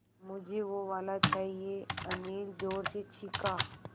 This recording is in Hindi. मझे वो वाला चाहिए अनिल ज़ोर से चीख़ा